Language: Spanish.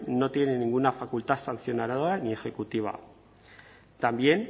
no tiene ninguna facultad sancionadora ni ejecutiva también